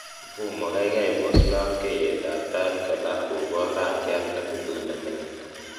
mfumo gaigai pos lobkeiyet ab tait kolal kobor rangiat nebuluu nemingin.